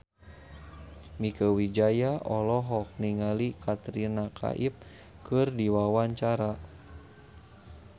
Mieke Wijaya olohok ningali Katrina Kaif keur diwawancara